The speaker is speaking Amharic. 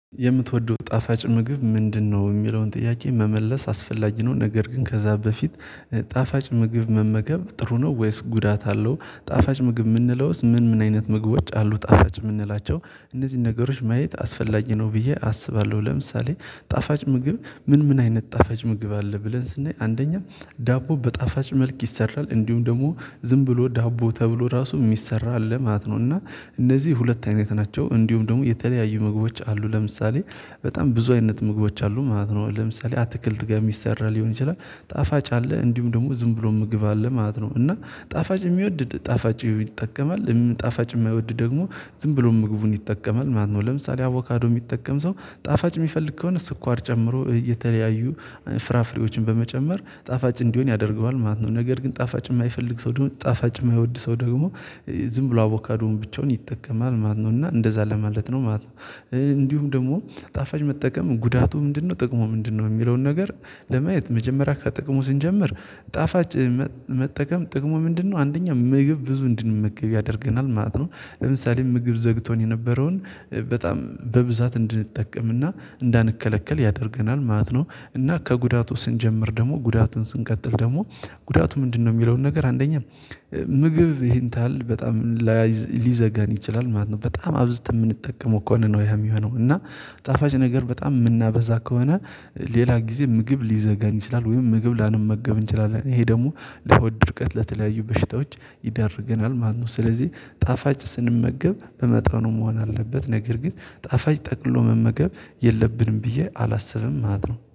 የምትወደው ጣፋጭ ምግብ ምንድነው? የሚለውን ጥያቄ መመለስ አስፈላጊ ነው ነገር ግን ከዛ በፊት ጣፋጭ ምግብ መመገብ ጥሩ ነው ወይስ ጉዳት አለው? ጣፋጭ ምግብ ምንለውስ ምን ምን አይነት ምግቦች አሉ ጣፋጭ ምንላቸው? እነዚህን ነገሮች ማየት አስፈላጊ ነው ብዬ አስባለሁ ለምሳሌ ጣፋጭ ምግብ ምን ምን አይነት ጣፋጭ ምግብ አለ ብለን ስናይ አንደኛ ዳቦ በጣፋጭ መልክ ይሰራል እንዲሁም ደግሞ ዝም ብሎ ዳቦ ተብሎ ራሱ ሚሰራ አለ ማለት ነው። እና እነዚህ ሁለት አይነት ናቸው እንዲሁም ደግሞ የተለያዩ ምግቦች አሉ ለምሳሌ። በጣም ብዙ አይነት ምግቦች አሉ ማለት ነው። ለምሳሌ አትክልት ጋር ምሰራ ሊሆን ይችላል ጣፋጭ አለ እንዲሁም ደግሞ ዝም ብሎ ምግብ አለ ማለት ነው። እና ጣፋጭ የሚወድ ጣፋጭ ይጠቀማል ጣፋጭ የማይወድ ደግሞ ዝም ብሎ ምግቡን ይጠቀማል ማለት ነው። ለምሳሌ አቮካዶ ሚጠቀም ሰው ጣፋጭ ሚፈልግ ከሆነ ስኳር ጨምሮ የተለያዩ ፍራፍሬዎችን በመጨመር ጣፋጭ እንዲሆን ያደርገዋል ማለት ነው። ነገር ግን ጣፋጭ የማይፈልግ ሰው ደግሞ ጣፋጭ የማይወድ ሰው ደግሞ ዝም ብሎ አቮካዶን ብቻውን ይጠቀማል ማለት ነው እና እንደዛ ለማለት ነው ማለት ነው። እንዲሁም ደግሞ ጣፋጭ መጠቀም ጉዳቱ ምንድነው ጥቅሙ ምንድነው? የሚለውን ነገር ለማየት መጀመሪያ ከጥቅሙ ስንጀምር ጣፋጭ መጠቀም ጥቅሙ ምንድነው አንደኛ ምግብ ብዙ እንድንመገብ ያደርገናል ማለት ነው። ለምሳሌ ምግብ ዘግቶን የነበረውን በጣም በብዛት እንድንጠቀምና እንዳንከለከል ያደርገናል ማለት ነው። እና ከጉዳቱ ስንጀምር ደግሞ ጉዳቱን ስንቀጥል ደግሞ ጉዳቱ ምንድነው? ሚለውን ነገር አንደኛ ምግብ ይሄንታል በጣም ሊዘጋን ይችላል ማለት ነው። በጣም አብዝተን ምንጠቀመው ከሆነ ነው ያ የሚሆነው እና ጣፋጭ ነገር በጣም ምናበዛ ከሆነ ሌላ ጊዜ ምግብ ሊዘጋን ይችላል። ወይም ምግብ ላንመገብ እንችላለን ይሄ ደግሞ ለሆድ ድርቀት ለተለያዩ በሽታዎች ይዳርገናል ማለት ነው። ስለዚህ ጣፋጭ ስንመገብ በመጣኑ መሆን አለበት ነገር ግን ጣፋጭ ጠቅልሎ መመገብ የለብንም ብዬ አላስብም ማለት ነው